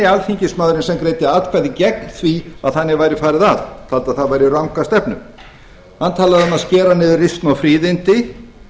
alþingismaðurinn sem greiddi atkvæði gegn því að þannig væri farið að taldi það vera ranga stefnu hann talaði um að skera niður risnu og fríðindi